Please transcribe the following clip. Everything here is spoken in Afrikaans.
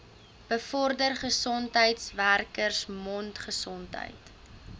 bevorder gesondheidswerkers mondgesondheid